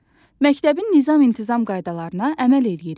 Məktəbin nizam-intizam qaydalarına əməl eləyirik.